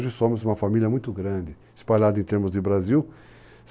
Hoje somos uma família muito grande, espalhada em termos de Brasil.